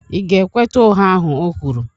Ị̀ ga-ekweta ụgha ahụ o kwuru?